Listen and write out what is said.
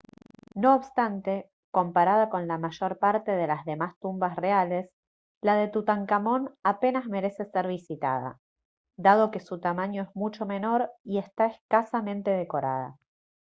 no obstante comparada con la mayor parte de las demás tumbas reales la de tutankamón apenas merece ser visitada dado que su tamaño es mucho menor y está escasamente decorada